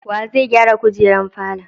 Wa zai gyara kujerar falon?